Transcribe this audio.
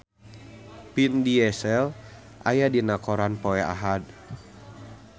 Vin Diesel aya dina koran poe Ahad